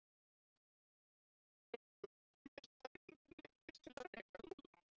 Það leið því ekki á löngu þar til meistarinn neyddist til að reka Lúlla.